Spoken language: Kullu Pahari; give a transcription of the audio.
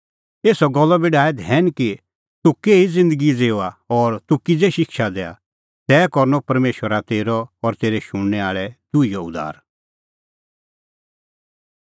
एसा गल्लो बी डाहै धैन कि तूह केही ज़िन्दगी ज़िऊआ और तूह किज़ै शिक्षा दैआ तै करनअ परमेशरा तेरअ और तेरै शुणनै आल़ै दुहीओ उद्धार